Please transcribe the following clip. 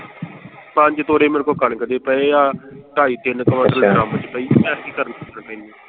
ਪੰਜ ਤੋੜੇ ਮੇਰੇ ਕੋਲ ਕਣਕ ਦੇ ਪਏ ਆ ਢਾਈ ਤਿੰਨ ਕਵਿੰਟਲ ਅੱਛਾ, ਕੰਮ ਚ ਪਈ ਆਤਕੀ .